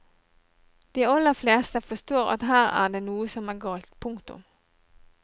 De aller fleste forstår at her er det noe som er galt. punktum